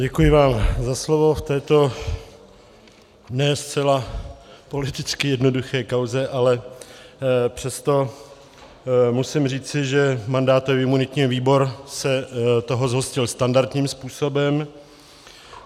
Děkuji vám za slovo v této ne zcela politicky jednoduché kauze, ale přesto musím říci, že mandátový a imunitní výbor se toho zhostil standardním způsobem.